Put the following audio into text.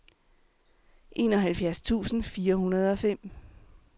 enoghalvfjerds tusind fire hundrede og fem